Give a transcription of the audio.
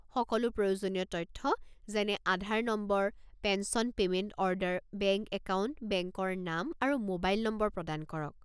সকলো প্ৰয়োজনীয় তথ্য যেনে Aadhaar number, pension payment order, bank account, বেংকৰ নাম আৰু মোবাইল নম্বৰ প্ৰদান কৰক।